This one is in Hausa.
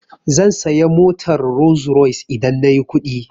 Zan saya motar Rolls-Royce idan nayi kuɗi.